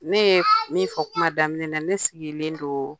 Ne ye min fɔ kuma daminɛ na, ne sigilen don